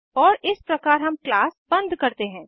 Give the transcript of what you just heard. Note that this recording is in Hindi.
और इस प्रकार हम क्लास बंद करते हैं